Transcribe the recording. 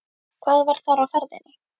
Hvað var þar á ferðinni?